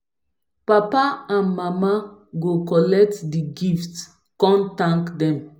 papa and mama go kollet di gifts kon thank dem